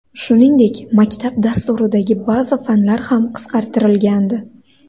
Shuningdek, maktab dasturidagi ba’zi fanlar ham qisqartirilgandi.